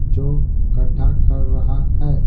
जो गड्ढा कर रहा है।